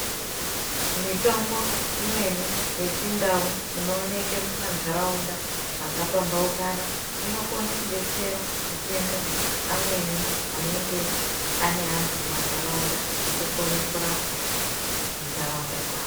Mitombo imweni yechindau inooneke mumantaraunda makapambaukana inokona kubetsera matenda amweni anenge ane antu mumantaraunda. Eitokone kurapa muntaraunda dzavo.